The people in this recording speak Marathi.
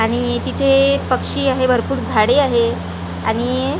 आणि तिथे पक्षी आहे भरपूर झाडी आहे आणि--